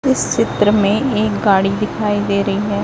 इस चित्र में एक गाड़ी दिखाई दे रही है।